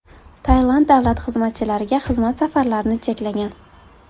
Tailand davlat xizmatchilariga xizmat safarlarini cheklagan .